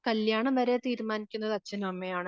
കല്യാണം വരെ തീരുമാനിക്കുന്നത് അച്ഛനുമമ്മയുമാണ് .